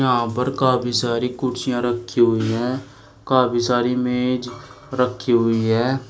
यहाँ पर काफी सारी कुर्सियाँ रखी हुई है काफी सारी मेज रखी हुई है।